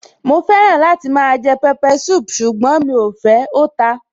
Mo fẹ́ràn láti máa jẹ pepper soup ṣùgbọ́n mí ò fẹ́, ó ta.